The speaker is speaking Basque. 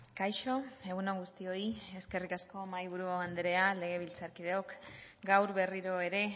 kaixo egun on guztioi eskerrik asko mahaiburu anderea legebiltzarkideok gaur berriro ere